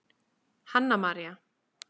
Hanna María.